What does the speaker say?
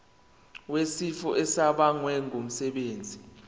wesifo esibagwe ngumsebenzi